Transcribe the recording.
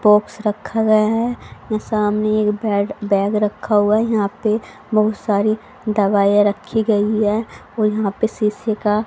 Box रखा गया है। सामने एक बेड बैग रखा हुआ है यहां पे बहोत सारे दवाइयाँ राखी गई हुई है और यहां पे सिसी का --